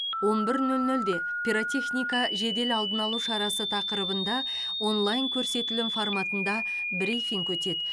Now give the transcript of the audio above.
он бір нөл нөлде пиротехника жедел алдын алу шарасы тақырыбында онлайн көрсетілім форматында брифинг өтеді